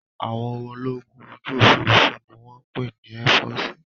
Àwọn ológun ojú òfuurufú ni wọ́n ń pè ní ẹ́fọọ̀sì